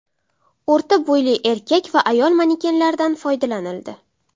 O‘rta bo‘yli erkak va ayol manekenlaridan foydalanildi.